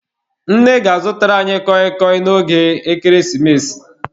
Nne ga-azụtara anyị kọị kọị n'oge ekeresimesi.